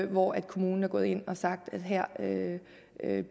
hvor kommunen er gået ind og har sagt at man her